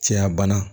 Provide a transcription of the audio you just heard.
Cɛya bana